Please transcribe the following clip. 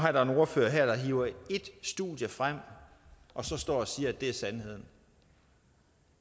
er der en ordfører her der hiver ét studie frem og så står og siger at det er sandheden